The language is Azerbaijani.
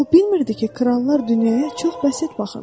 O bilmirdi ki, krallar dünyaya çox bəsit baxırlar.